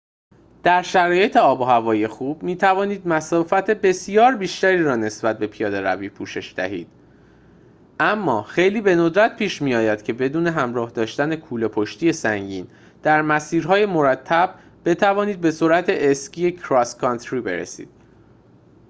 در شرایط آب‌وهوایی خوب می‌توانید مسافت بسیار بیشتری را به نسبت پیاده‌روی پوشش دهید اما خیلی به ندرت پیش می‌آید که بدون همراه داشتن کوله‌پشتی سنگین در مسیرهای مرتب بتوانید به سرعت اسکی کراس کانتری برسید